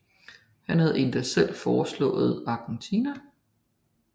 Han havde endog selv foreslået Argentina